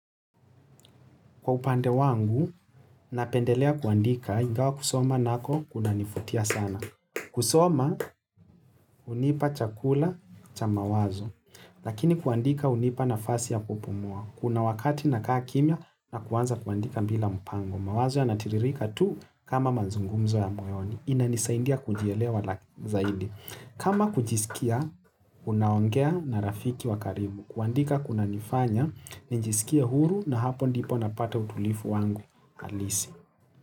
Kwa upande wangu, napendelea kuandika, ingawa kusoma nako kuna nivutia sana. Kusoma, hunipa chakula cha mawazo. Lakini kuandika hunipa nafasi ya kupumua. Kuna wakati nakaa kimya na kuanza kuandika bila mpango. Mawazo ya natiririka tu kama mazungumzo ya moyoni. Inanisaindia kujielewa la zaidi. Kama kujiskia, unaongea na rafiki wakaribu. Kuandika kuna nifanya, ninjiskia huru na hapo ndipo napata utulifu wangu alisi.